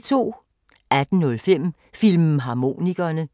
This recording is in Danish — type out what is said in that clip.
18:05: Filmharmonikerne